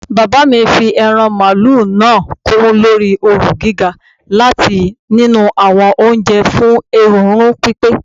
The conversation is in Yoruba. Baba mi fi eran malu naa kun lori ooru giga lati tii ninu awọn oje fun erunrun pipe